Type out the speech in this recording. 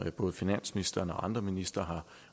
både finansministeren og andre ministre har